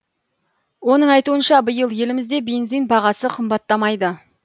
оның айтуынша биыл елімізде бензин бағасы қымбаттамайды